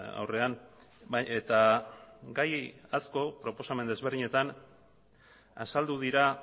aurrean eta gai asko proposamen desberdinetan azaldu dira